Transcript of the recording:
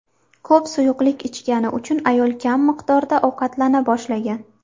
Ko‘p suyuqlik ichgani uchun ayol kam miqdorda ovqatlana boshlagan.